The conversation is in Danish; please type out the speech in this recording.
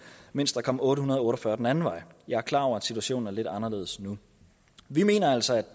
mens der kom otte hundrede og otte og fyrre den anden vej jeg er klar over at situationen er lidt anderledes nu vi mener altså